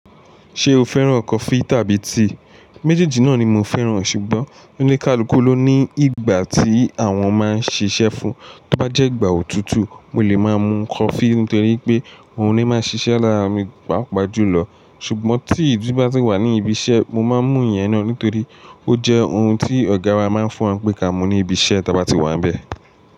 Ṣé o fẹ́ràn coffee tàbí tíì? Méjèèjì náà ni mo fẹ́ràn ṣùgbọ́n oníkálukú ló ní ìgbà tí àwọn máa ń ṣiṣẹ́ fún. Tí ó bá jẹ́ ìgbà òtútù, mo lè máa mu coffee nítorí pé òun ni máa n ṣiṣẹ́ lára mi, pàápàá jùlọ. Ṣùgbọ́n tií ti bá ti wà ní ibi iṣẹ́, mo máa ń mu ìyẹn náà nítorí ó jẹ́ ohun tí ọ̀gá wa máa ń fún wa pé ka mu ní ibi iṣẹ́ tí a bá ti wà níbẹ̀.